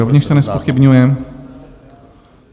Rovněž se nezpochybňuje.